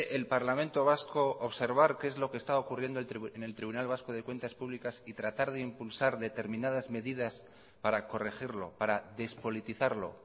el parlamento vasco observar qué es lo que está ocurriendo en el tribunal vasco de cuentas públicas y tratar de impulsar determinadas medidas para corregirlo para despolitizarlo